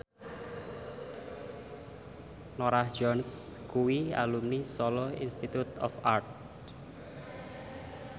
Norah Jones kuwi alumni Solo Institute of Art